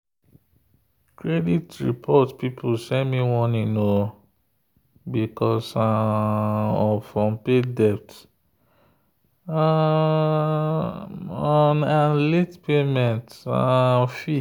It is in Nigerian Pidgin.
credit report people send me warning because um of unpaid debt um um and late payment um fee.